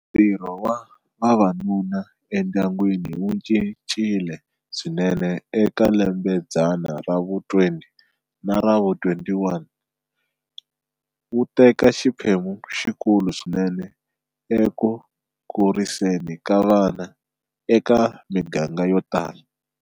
Ntirho wa vavanuna endyangwini wu cincile swinene eka lembe xidzana ra vu-20 na ra vu-21, wu teka xiphemu lexikulu swinene eku kuriseni ka vana eka miganga yo tala.